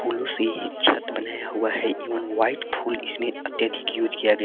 फूलों से ही छत बनाया हुआ है एवं वाइट फूल इसमें अत्यधिक उज किया गया है।